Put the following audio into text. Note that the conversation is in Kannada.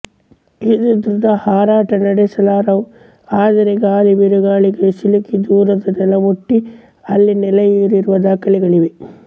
ಇವು ದೃಢ ಹಾರಾಟ ನಡೆಸಲಾರವು ಆದರೂ ಗಾಳಿ ಬಿರುಗಾಳಿಗಳಿಗೆ ಸಿಲುಕಿ ದೂರದ ನೆಲ ಮುಟ್ಟಿ ಅಲ್ಲಿ ನೆಲೆಯೂರಿರುವ ದಾಖಲೆಗಳಿವೆ